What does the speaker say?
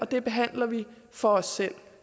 det behandler vi for os selv